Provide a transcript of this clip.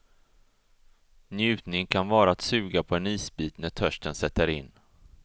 Njutning kan vara att suga på en isbit när törsten sätter in.